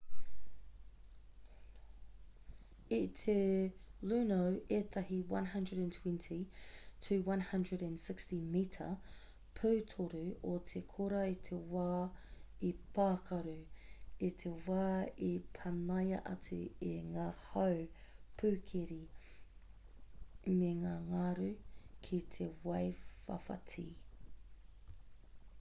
i te luno ētahi 120-160 mita pūtoru o te kora i te wā i pākaru i te wā i panaia atu e ngā hau pūkeri me ngā ngaru ki te waiwhawhati